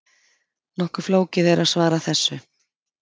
Nokkuð flókið er að svara þessu.